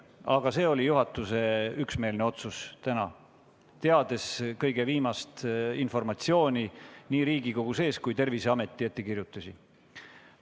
Selline oli täna juhatuse üksmeelne otsus, võttes arvesse nii viimast Riigikogu-sisest informatsiooni kui ka Terviseameti ettekirjutusi.